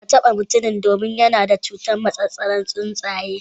Kada ka taba mutumin domin yana da cutar massasaran tsuntsaye.